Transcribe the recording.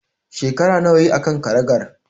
Shekara nawa yayi a kan karagar?